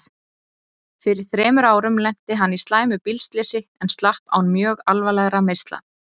Fyrir þremur árum lenti hann í slæmu bílslysi en slapp án mjög alvarlegra meiðsla.